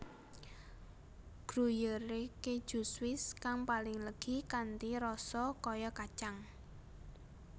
Gruyère Keju Swiss kang paling legi kanthi rasa kaya kacang